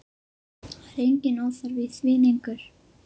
Það er enginn óþarfi í því lengur!